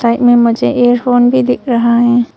Side मुझे earphone भी दिख रहा है।